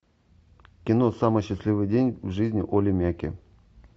кино самый счастливый день в жизни олли мяки